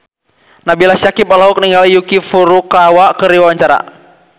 Nabila Syakieb olohok ningali Yuki Furukawa keur diwawancara